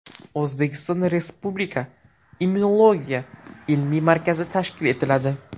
O‘zbekistonda Respublika immunologiya ilmiy markazi tashkil etiladi.